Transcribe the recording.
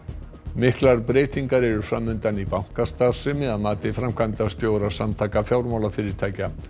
miklar breytingar eru fram undan í bankastarfsemi að mati framkvæmdastjóra Samtaka fjármálafyrirtækja